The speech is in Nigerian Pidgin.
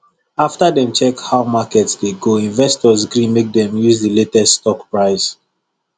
after dem check how market dey go investors gree make dem use the latest stock price